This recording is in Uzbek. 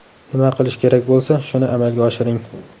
Nima qilish kerak bo‘lsa, shuni amalga oshiring.